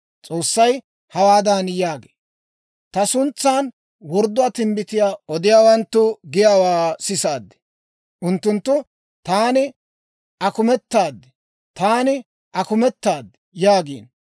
S'oossay hawaadan yaagee; «Ta suntsan wordduwaa timbbitiyaa odiyaawanttu giyaawaa sisaad. Unttunttu, ‹Taani akumetaad; taani akumetaad!› yaagiino.